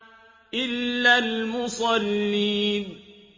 إِلَّا الْمُصَلِّينَ